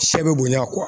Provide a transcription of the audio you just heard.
Sɛ bɛ bonya